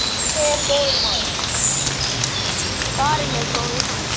Farinn er góður maður.